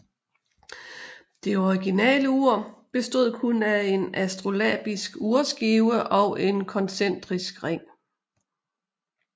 Det originale ur bestod kun af en astrolabisk urskive og en koncentrisk ring